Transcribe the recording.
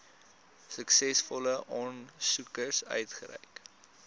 suksesvolle aansoekers uitgereik